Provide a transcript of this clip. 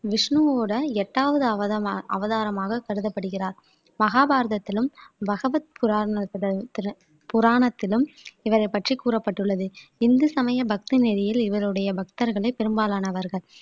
விஷ்ணுவோட எட்டாவது அவதம அவதாரமாக கருதப்படுகிறார் மகாபாரதத்திலும் பகவத் புரானிலும் புராணத்திலும் இவரைப் பற்றி கூறப்பட்டுள்ளது இந்து சமய பக்தி நெரியில் இவருடைய பக்தர்களே பெரும்பாலானவர்கள்